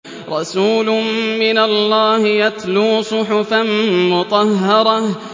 رَسُولٌ مِّنَ اللَّهِ يَتْلُو صُحُفًا مُّطَهَّرَةً